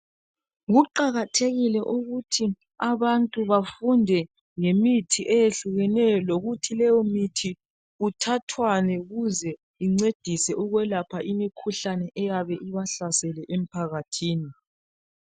kuqakathekile ukuthi abantu bafunde ngemithi eyehlukeneyo lokuthi leyo mithi kuthathwani ukuze incedise ukwelaphe imikhuhlane eyabe ibahlasele emphakhathini